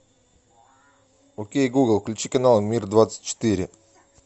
окей гугл включи канал мир двадцать четыре